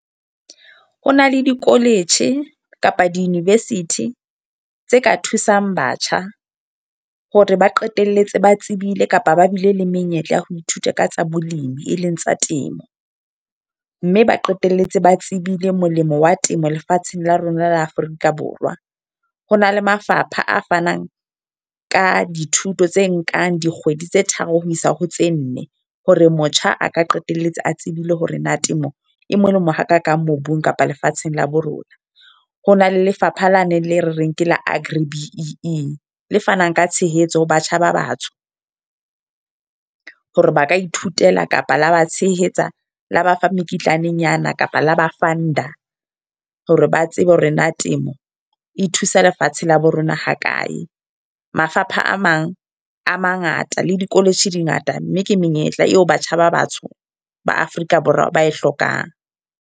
Ho na le di-college kapa di-University, tse ka thusang batjha. Hore ba qetelletse ba tsebile kapa ba bile le menyetla ya ho ithuta ka tsa bolemi, e leng tsa temo. Mme ba qetelletse ba tsebile molemo wa temo lefatsheng la rona la Afrika Borwa. Ho na le mafapha a fanang ka dithuto tse nkang dikgwedi tse tharo ho isa ho tse nne. Hore motjha a ka qetelletse a tsebile hore na temo e molemo ha kakang mobung kapa lefatsheng la bo rona. Ho na le lefapha la neng le re reng ke la Agri B_E_E le fanang ka tshehetso ho batjha ba batsho. Hore ba ka ithutela kapa la ba tshehetsa, la ba fa mekitlanenyana kapa la ba fund-a. Hore ba tsebe hore na temo, e thusa lefatshe tsela ya bo ng rona ha kae. Mafapha a mang a mangata le di-college di ngata. Mme ke menyetla eo batjha ba batsho ba Afrika Borwa ba e hlokang.